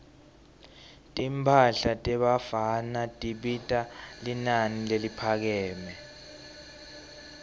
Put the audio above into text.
timphahla tebafana tibita linani leliphakeme